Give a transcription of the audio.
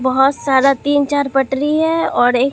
बहोत सारा तीन चार पटरी है और एक--